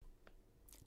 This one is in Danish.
DR1